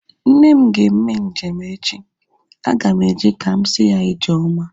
Nne m ga-eme njem echi. Aga m eje ka m si ya ijeoma